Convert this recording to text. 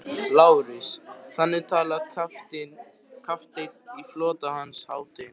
LÁRUS: Þannig talar kafteinn í flota Hans hátignar?